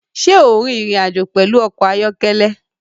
Ṣé ò ń rin ìrìn-àjò pẹ̀lú ọkọ̀ ayọ́kẹ́lẹ́?